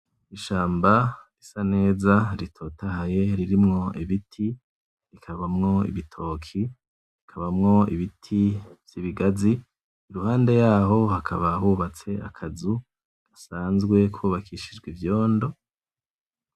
Ishamba risaneza ritotahaye ririmwo ibiti; rikabamwo ibitoki; rikabamwo ibiti vyibigazi, iruhande yaho hakaba hubatswe akazu gasanzwe kubakishijwe ivyondo.